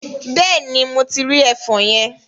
Bẹ́ẹ̀ni, mo ti rí ẹfọn yẹn.